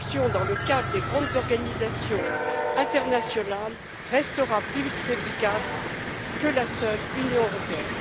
L'action dans le cadre des grandes organisations internationales restera plus efficace que la seule Union européenne.